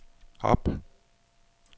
op